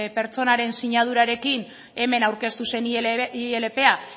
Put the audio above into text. pertsonaren sinadurarekin hemen aurkeztu zen ilpa